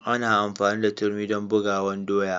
Ana amfani da turmi dan bugawan doya.